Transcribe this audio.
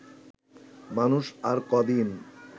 মানুষ আর কদিন